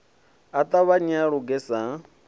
a ṱavhanye a luge sa